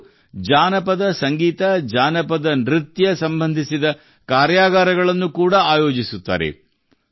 ಇವರು ಜಾನಪದಸಂಗೀತ ಜಾನಪದ ನೃತ್ಯ ಸಂಬಂಧಿತ ಕಾರ್ಯಾಗಾರಗಳನ್ನು ಕೂಡಾ ಆಯೋಜಿಸುತ್ತಾರೆ